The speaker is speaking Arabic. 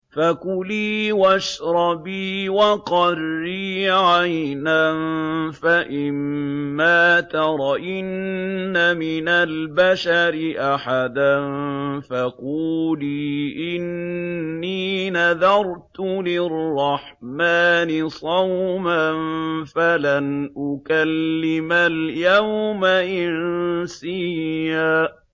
فَكُلِي وَاشْرَبِي وَقَرِّي عَيْنًا ۖ فَإِمَّا تَرَيِنَّ مِنَ الْبَشَرِ أَحَدًا فَقُولِي إِنِّي نَذَرْتُ لِلرَّحْمَٰنِ صَوْمًا فَلَنْ أُكَلِّمَ الْيَوْمَ إِنسِيًّا